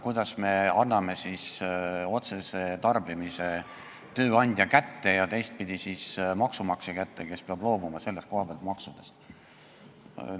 Kuidas me anname otsese tarbimise tööandja kätte ja teistpidi maksumaksja kätte, kes peab selle koha peal maksudest loobuma?